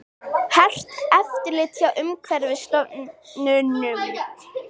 Hert eftirlit hjá Umhverfisstofnun